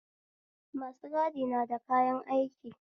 Masu gadi nada kayan aiki